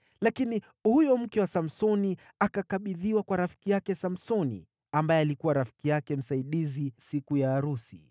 Lakini huyo mke wa Samsoni akakabidhiwa kwa rafiki yake Samsoni ambaye alikuwa rafiki yake msaidizi siku ya arusi.